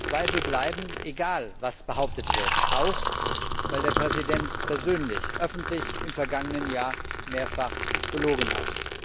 Zweifel bleiben, egal was behauptet wird, auch, weil der Präsident persönlich öffentlich im vergangenen Jahr mehrfach gelogen hat.